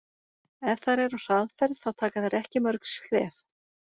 Ef þær eru á hraðferð þá taka þær ekki mörg skref.